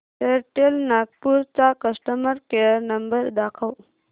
Airtel Nagpur चा customer care number दाखव